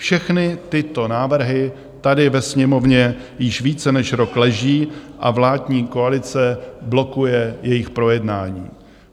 Všechny tyto návrhy tady ve Sněmovně již více než rok leží a vládní koalice blokuje jejich projednání.